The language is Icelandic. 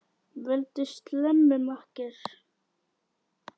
Veldu slemmu, makker.